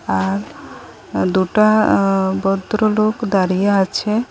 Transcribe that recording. আর দুটা আঃ ভদ্রলোক দাঁড়িয়ে আছে।